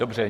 Dobře.